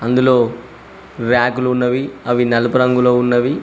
అందులో ర్యాకులు ఉన్నవి అవి నలుపు రంగులో ఉన్నవి.